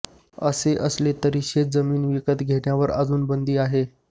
असे असले तरी शेतजमीन विकत घेण्यावर अजूनी बंदी आहे